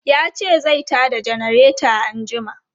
Ya ce zai ta da janareta anjima.